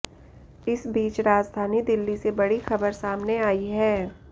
इस बीच राजधानी दिल्ली से बड़ी खबर सामने आई है